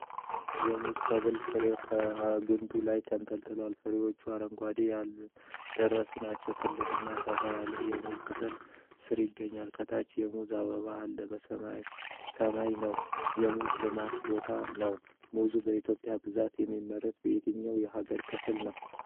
የሙዝ ሰብል ፍሬው ከግንዱ ላይ ተንጠልጥሏል። ፍሬዎቹ አረንጓዴና ያልደረሱ ናቸው። ትልቅና ሰፋ ያለ የሙዝ ቅጠል ሥር ይገኛል። ከታች የሙዝ አበባ አለ። ሰማዩ ሰማያዊ ነው። የሙዝ ልማት ቦታ ነው። ሙዝ በኢትዮጵያ በብዛት የሚመረተው በየትኞቹ የሀገሪቱ ክፍሎች ነው?